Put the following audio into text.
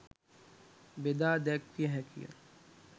බෙදා දැක්විය හැකිය.